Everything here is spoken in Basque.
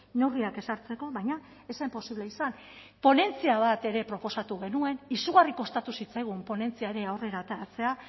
neurriak ezartzeko baina ez zen posible izan ponentzia bat ere proposatu genuen izugarri kostatu zitzaigun ponentzia ere aurrera ateratzea